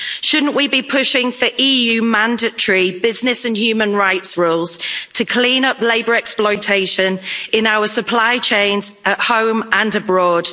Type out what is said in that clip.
Shouldn't we be pushing for EU mandatory business and human rights rules to clean up labour exploitation in our supply chains at home and abroad?